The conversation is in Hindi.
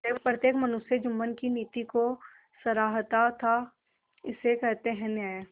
प्रत्येक मनुष्य जुम्मन की नीति को सराहता थाइसे कहते हैं न्याय